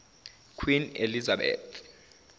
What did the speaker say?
queen elizabeth